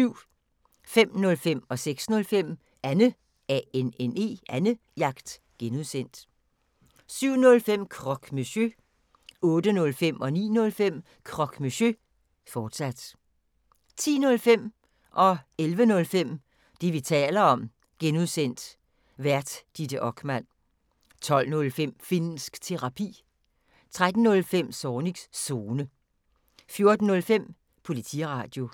05:05: Annejagt (G) 06:05: Annejagt (G) 07:05: Croque Monsieur 08:05: Croque Monsieur, fortsat 09:05: Croque Monsieur, fortsat 10:05: Det, vi taler om (G) Vært: Ditte Okman 11:05: Det, vi taler om (G) Vært: Ditte Okman 12:05: Finnsk Terapi 13:05: Zornigs Zone 14:05: Politiradio